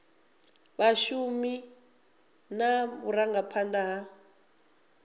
ya vhashumi na vhurangaphanda ha